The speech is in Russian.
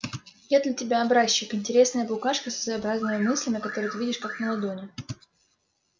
я для тебя образчик интересная букашка со своеобразными мыслями которые ты видишь как на ладони